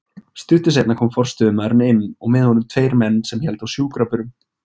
Stuttu seinna kom forstöðumaðurinn inn og með honum tveir menn sem héldu á sjúkrabörum.